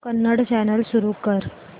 Kannada channel सुरू कर